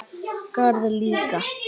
Garð líka.